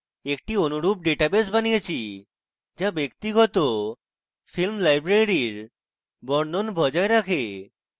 একটি অনুরূপ ডাটাবেস বানিয়েছি যা ব্যক্তিগত ফিল্ম library বর্ণন বজায় রাখে